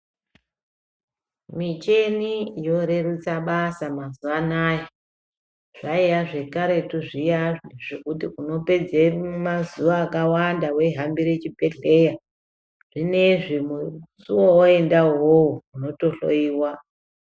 Muchini yorerutsa basa mazuwaanaa zvaiya zvekaretu zviyani zvekuti unopedza mazuva akawanda weihambira chibhedhlera zvinezvi musi wawaeenda uwowo unotohloyiwa .